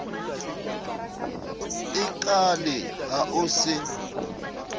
e kaale ha o se